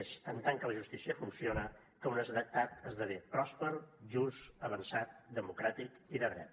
és en tant que la justícia funciona que un estat esdevé pròsper just avançat democràtic i de dret